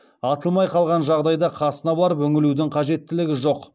атылмай қалған жағдайда қасына барып үңілудің қажеттілігі жоқ